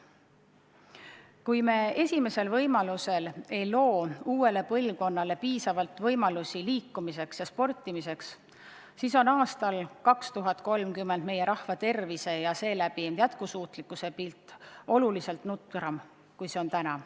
Kui me esimesel võimalusel ei loo uuele põlvkonnale piisavalt võimalusi liikumiseks ja sportimiseks, siis on aastal 2030 Eesti rahva tervise ja seeläbi ka jätkusuutlikkuse pilt oluliselt nukram kui täna.